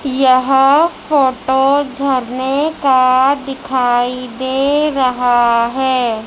यह फोटो झरने का दिखाई दे रहा है।